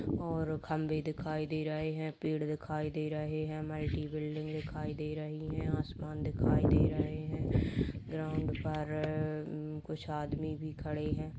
और खंबे दिखाई दे रहे हैं पेड़ दिखाई दे रहें हैं मल्टी बिल्डिंग दिखाई दे रही हैं आसमान दिखाई दे रहे हैं ग्राउंड पर कुछ आदमी भी खड़े है|